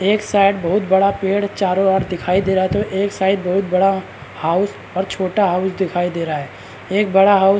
एक साइड बहुत बड़ा पेड़ चारो ओर दिखाई दे रहा है तो एक साइड बहुत बड़ा हाउस और छोटा हाउस दिखाई दे रहा है एक बड़ा हाउस --